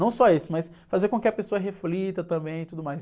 Não só isso, mas fazer com que a pessoa reflita também e tudo mais.